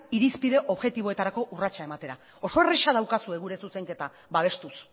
irizpide objektiboetarako urratsak ematera oso erraza daukazue gure zuzenketa babestuz